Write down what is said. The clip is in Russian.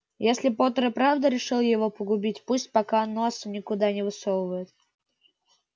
если поттер и правда решил его погубить пусть пока носа никуда не высовывает